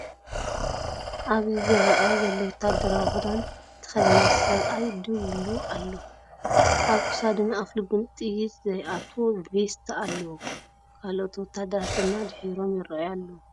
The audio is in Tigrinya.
ኣብዚ ዝረአ ዘሎ ወተሃደራዊ ክዳን ዝተኸድነ ሰብኣይ ደው ኢሉ ኣሎ። ኣብ ክሳዱን ኣፍልቡን ጥይት ዘይትኣትዎ ቬስት ኣለዎ፡ ካልኦት ወተሃደራት ድማ ድሒሮም ይረኣዩ ኣለው።